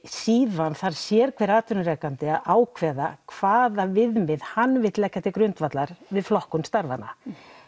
síðan þarf hver atvinnurekandi að ákveða hvaða viðmið hann vill leggja til grundvallar við flokkun starfanna